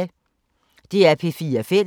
DR P4 Fælles